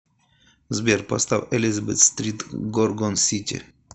сбер поставь элизабет стрит горгон сити